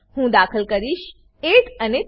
હું દાખલ કરીશ 8 અને 3